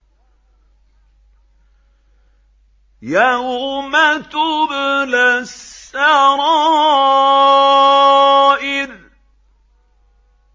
يَوْمَ تُبْلَى السَّرَائِرُ